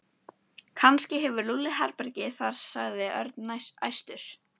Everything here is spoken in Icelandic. Kannski hefur Lúlli herbergi þar sagði Örn æstur.